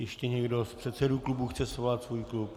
Ještě někdo z předsedů klubů chce svolat svůj klub?